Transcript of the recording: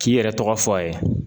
K'i yɛrɛ tɔgɔ fɔ a ye